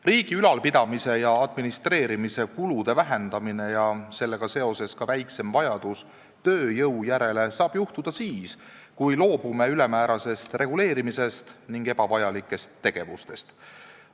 Riigi ülalpidamise ja administreerimise kulude vähendamine ja sellega seoses ka väiksem vajadus tööjõu järele saab tekkida siis, kui loobume ülemäärasest reguleerimisest ning ebavajalikest tegevustest.